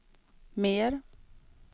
mer